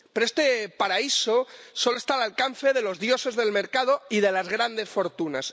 Pero este paraíso solo está al alcance de los dioses del mercado y de las grandes fortunas.